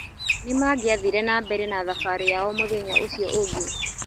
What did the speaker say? Nĩ mangiathire na mbere na thabarĩ yao mũthenya ũcio ũngĩ